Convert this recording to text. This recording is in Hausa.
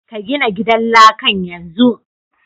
Ka gina gidan lakan yanzu!